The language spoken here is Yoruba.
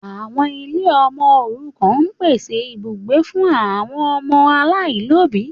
Àwọn ilé ọmọ òrukàn ń pèsè ibùgbé fún àwọn ọmọ aláìlóbìí.